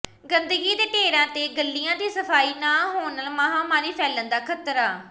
ਗੰਦਗੀ ਦੇ ਢੇਰਾਂ ਤੇ ਗਲੀਆਂ ਦੀ ਸਫ਼ਾਈ ਨਾ ਹੋਣ ਨਾਲ ਮਹਾਮਾਰੀ ਫੈਲਣ ਦਾ ਖ਼ਤਰਾ